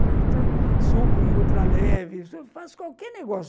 Para mim, subo em ultra leve, faço qualquer negócio.